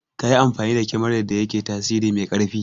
Kayi amfani da kemarar da yake tasiri mai ƙarfi